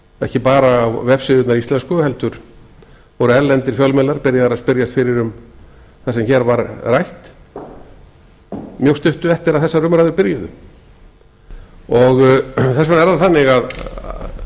ekki bara á vefsíðurnar íslensku heldur voru erlendir fjölmiðlar byrjaðir að spyrjast fyrir um það sem hér var rætt mjög stuttu eftir að þessar umræður byrjuðu þess vegna er það þannig að